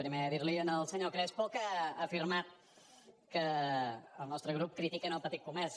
primer dir li al senyor crespo que ha afirmat que el nostre grup critica el petit comerç